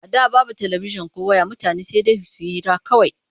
A da babu talabijin ko ways mutane sai dai su yi hira kawai.